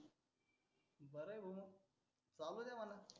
चालु द्या म्हणा.